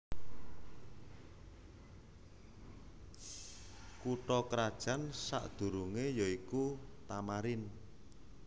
Kutha krajan sakdurungé ya iku Tamarin